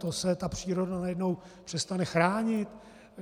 To se ta příroda najednou přestane chránit?